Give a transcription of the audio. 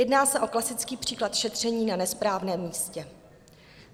Jedná se o klasický příklad šetření na nesprávném místě.